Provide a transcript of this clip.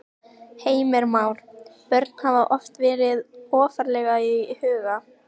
Heimir Már: Börn hafa oft verið ofarlega í huga?